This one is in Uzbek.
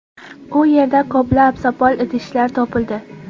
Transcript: U yerdan ko‘plab sopol idishlar topildi.